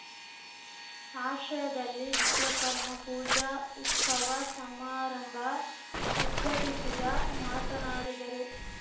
ಆಶ್ರಯದಲ್ಲಿ ವಿಶ್ವಕರ್ಮ ಪೂಜಾ ಉಸ್ತವ ಸಮಾರಂಭ ಉದ್ಘಟಿಸಿದ ಮಾತನಾಡಿದರು